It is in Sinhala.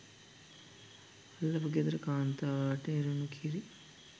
අල්ලපු ගෙදර කාන්තාවට එරුන කිරි